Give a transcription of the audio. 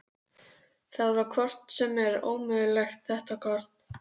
Það var hvort sem er ómögulegt þetta kort.